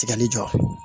Tigɛli jɔ